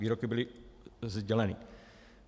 Výroky byly sděleny.